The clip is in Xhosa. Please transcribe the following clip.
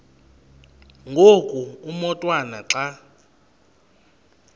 ngoku umotwana xa